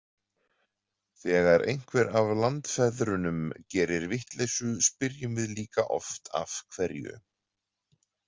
Þegar einhver af landsfeðrunum gerir vitleysu spyrjum við líka oft af hverju.